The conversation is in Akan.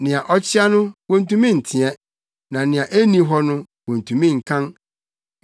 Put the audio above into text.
Nea akyea no wontumi nteɛ; na nea enni hɔ no wontumi nkan.